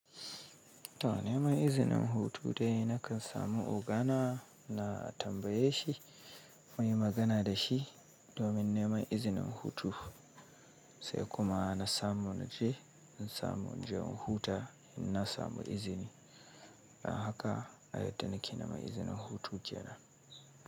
To neman izinin hutu dai na kan samu ogana na tambaye shi muyi magana da shi domin neman izinin hutu, sai kuma na samu naje, na samu naje in huta in na samu izini. Don haka ai yadda na ki nema izinin hutu jiya na.